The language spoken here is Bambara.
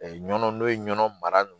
nɔnɔ n'o ye nɔnɔ mara